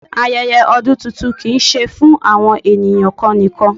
Ayẹyẹ ọdún tuntun kìí ṣe fún àwọn ènìyàn kan nìkan.